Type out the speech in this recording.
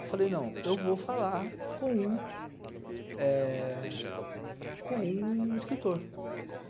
Eu falei, não, eu vou falar com um escritor, eh... Com um escritor.